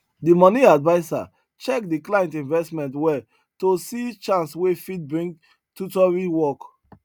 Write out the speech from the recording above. the money adviser check the client investment well to see chance wey fit bring tutoring work